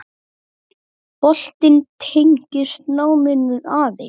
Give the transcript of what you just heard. Boltinn tengist náminu aðeins.